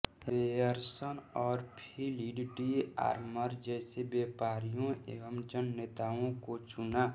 Ryerson और Philip de Armour जैसे व्यापारियों व जन नेताओं को चुना